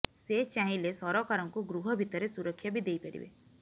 ସେ ଚାହିଁଲେ ସରକାରଙ୍କୁ ଗୃହ ଭିତରେ ସୁରକ୍ଷା ବି େଦଇପାରିବେ